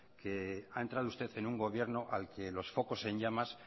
que ha entrado usted en un gobierno al que los focos en llamas